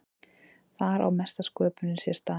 Þar á mesta sköpunin sér stað.